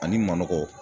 Ani manɔgɔ